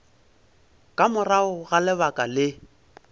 ka morago ga lebaka le